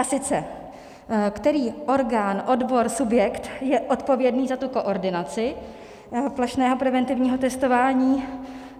A sice který orgán, odbor, subjekt je odpovědný za tu koordinaci plošného preventivního testování.